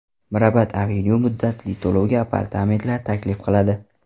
Mirabad Avenue muddatli to‘lovga apartamentlar taklif qiladi.